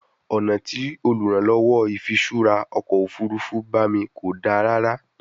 Ọna ti oluranlowo ifiṣura ọkọ ofurufu ba mi ko da rara